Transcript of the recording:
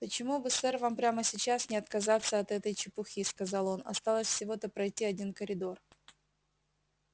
почему бы сэр вам прямо сейчас не отказаться от этой чепухи сказал он осталось всего-то пройти один коридор